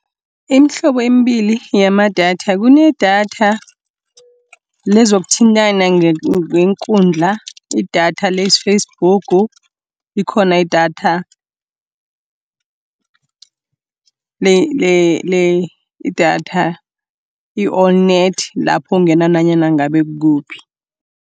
Iimhlobo embili yamadatha, kunedatha lezokuthintana ngeenkundla, idatha le-Facebook, likhona idatha idatha i-On_Net lapho ungena nanyana ngabe kuphi.